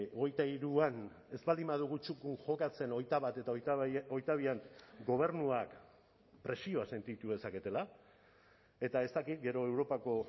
hogeita hiruan ez baldin badugu txukun jokatzen hogeita bat eta hogeita bian gobernuak presioa sentitu dezaketela eta ez dakit gero europako